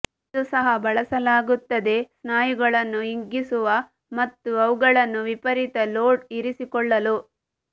ಇದು ಸಹ ಬಳಸಲಾಗುತ್ತದೆ ಸ್ನಾಯುಗಳನ್ನು ಹಿಗ್ಗಿಸುವ ಮತ್ತು ಅವುಗಳನ್ನು ವಿಪರೀತ ಲೋಡ್ ಇರಿಸಿಕೊಳ್ಳಲು